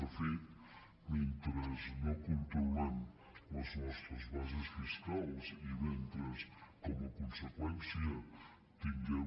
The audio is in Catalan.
de fet mentre no controlem les nostres bases fiscals i mentre com a conseqüència tinguem